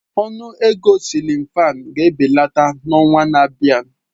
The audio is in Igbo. Ọnụ ego siilin fan ga-ebelata n'ọnwa na-abịa.